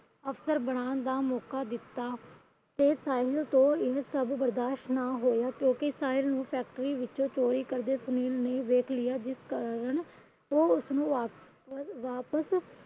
ਅਫਸਰ ਬਨਾਣ ਦਾ ਮੌਕਾ ਦਿੱਤਾ। ਪਰ ਸਾਹਿਲ ਤੋਂ ਇਹ ਸਭ ਬਰਦਾਸ਼ਤ ਨਾ ਹੋਇਆ। ਕਿਉਂਕਿ ਸਾਹਿਲ ਨੂੰ Factory ਵਿੱਚੋ ਚੋਰੀ ਕਰਦਿਆਂ ਸੁਨੀਲ ਨੇ ਦੇਖ ਲਿਆ। ਜਿਸ ਕਾਰਨ ਉਹ ਉਸਨੂੰ